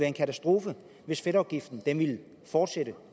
en katastrofe hvis fedtafgiften ville fortsætte